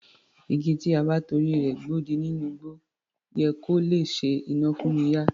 Igi tí a bá torí rẹ̀ gbodì nínú igbó yẹ kó lè ṣe iná fún'ni yá